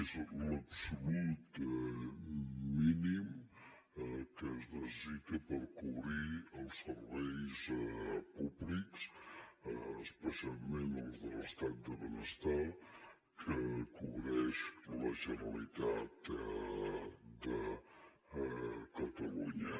és l’absolut mínim que es necessita per cobrir els serveis públics especialment els de l’estat del benestar que cobreix la generalitat de catalunya